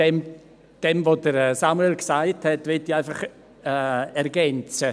Was Samuel Krähenbühl gesagt hat, möchte ich ergänzen.